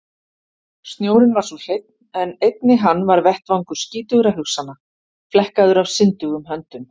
Snjórinn var svo hreinn en einnig hann var vettvangur skítugra hugsana, flekkaður af syndugum höndum.